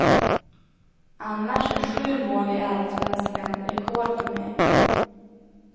Annars är sju mål i allsvenskan rekord för mig.